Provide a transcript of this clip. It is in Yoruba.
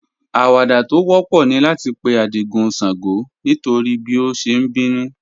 Àwàdà tó wọ̀pọ̀ ní láti pè̩ Ádìgún ṣàngó nítorí bí ó ṣé n bínú